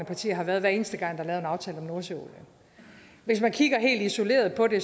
partier har været hver eneste gang der er lavet en aftale om nordsøolien hvis man kigger helt isoleret på det